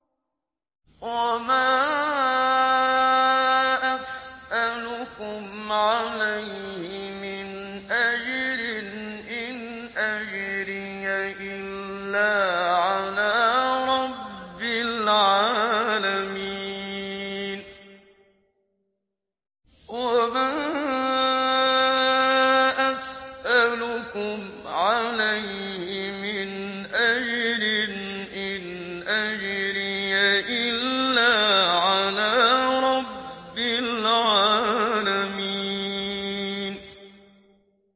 وَمَا أَسْأَلُكُمْ عَلَيْهِ مِنْ أَجْرٍ ۖ إِنْ أَجْرِيَ إِلَّا عَلَىٰ رَبِّ الْعَالَمِينَ